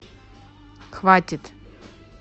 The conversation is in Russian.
хватит